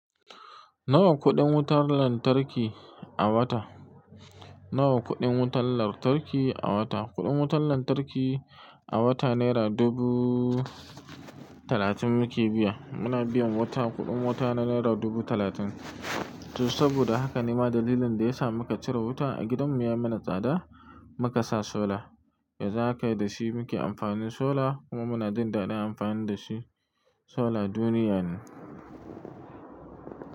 Nawa kuɗin wutar lantarki a wata? Nawa kuɗin wutar lantarki a wata? Kuɗin wutar lantarki a wata naira dubu talatin muke biya. Muna biyan wata kuɗin wuta na naira dubu talatin. To saboda haka ne ma dalilin da ya sa muka cire wuta a gidan mu ya mana tsada muka sa solar. Yanzu haka da shi muke amfani solar kuma muna jin daɗin amfani da shi solar duniya ne.